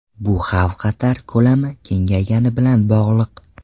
Bu xavf-xatar ko‘lami kengaygani bilan bog‘liq.